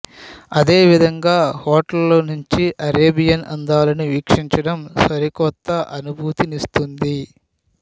అదేవిధంగా హోటల్లో నుంచి అరేబియన్ అందాలను వీక్షించడం సరికొత్త అనుభూతినిస్తుంది